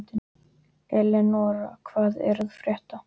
Eleonora, hvað er að frétta?